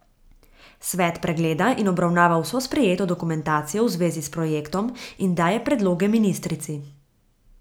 Svet pregleda in obravnava vso sprejeto dokumentacijo v zvezi s projektom in daje predloge ministrici.